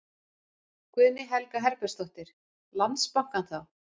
Guðný Helga Herbertsdóttir: Landsbankann þá?